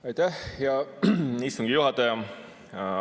Aitäh, hea istungi juhataja!